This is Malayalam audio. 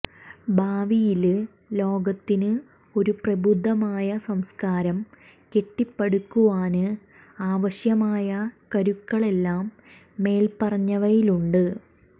ഭാവിയില് ലോകത്തിന് ഒരു പ്രബുദ്ധമായ സംസ്കാരം കെട്ടിപ്പടുക്കുവാന് ആവശ്യമായ കരുക്കളെല്ലാം മേല്പ്പറഞ്ഞവയിലുണ്ട്